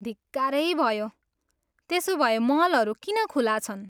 धिक्कारै भयो! त्यसोभए मलहरू किन खुला छन्?